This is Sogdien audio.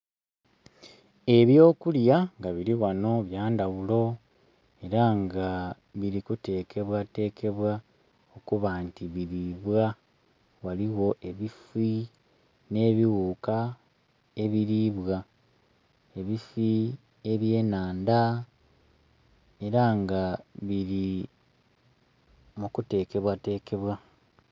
Ebyo kulya nga biri ghano bya ndhaghulo era nga biri kutekebwa tekebwa okuba nti biribwa, ghaligho ebifii nhe bighuka ebiribwa, ebifii ebye nandha era nga biri mu kutekebwa tekebwa.